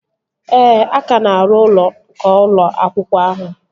Ee, a ka na-arụ ụlọ nke ụlọ akwụkwọ ahụ